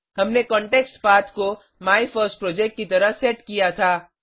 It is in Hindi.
हमने कॉन्टेक्स्टपथ को माइफर्स्टप्रोजेक्ट की तरह सेट किया था